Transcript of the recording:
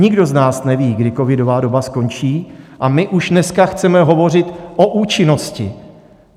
Nikdo z nás neví, kdy covidová doba skončí, a my už dneska chceme hovořit o účinnosti.